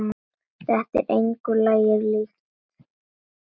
Þetta er engu lagi líkt.